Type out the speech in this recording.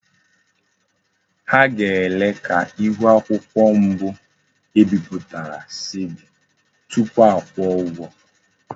Ha ga-ele ka ihu akwukwo mbu ebiputara si di tupu akwuo ugwo.